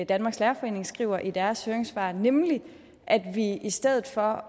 danmarks lærerforening skriver i deres høringssvar nemlig at vi i stedet for